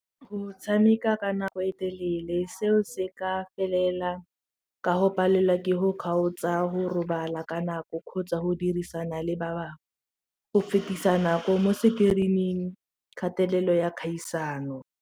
Go tshameka ka nako e telele seo se ka felela ka go palelwa ke go kgaotsa go robala ka nako kgotsa go dirisana le ba bangwe go fetisa nako mo screen-ing kgatelelo ya kgaisano.